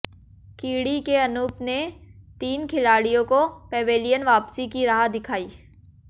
कीड़ी के अनूप ने तीन खिलाडि़यों को पैवेलियन वापसी की राह दिखाई